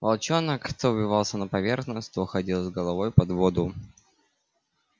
волчонок то выбивался на поверхность то уходил с головой под воду